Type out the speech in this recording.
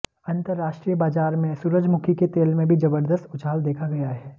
अंतरराष्ट्रीय बाजार में सूरजमुखी के तेल में भी जबरदस्त उछाल देखा गया है